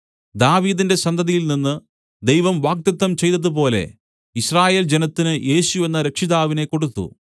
ദാവീദിന്റെ സന്തതിയിൽനിന്ന് ദൈവം വാഗ്ദത്തം ചെയ്തതുപോലെ യിസ്രായേൽ ജനത്തിന് യേശു എന്ന രക്ഷിതാവിനെ കൊടുത്തു